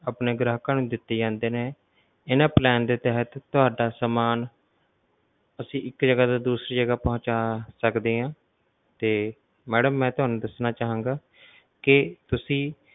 ਆਪਣੇ ਗ੍ਰਾਹਕਾਂ ਨੂੰ ਦਿਤੇ ਜਾਂਦੇ ਨੇ ਇਨ੍ਹਾਂ plan ਦੇ ਤਹਿਤ ਤੁਹਾਡਾ ਸਮਾਨ ਅਸੀਂ ਇਕ ਜਗਾ ਤੋਂ ਦੂਸਰੀ ਜਗਾ ਪਹੁੰਚਾ ਸਕਦੇ ਹਾਂ ਤੇ madam ਮੈਂ ਤੁਹਾਨੂੰ ਦੱਸਣਾ ਚਾਹਾਂਗਾ ਕਿ ਤੁਸੀਂ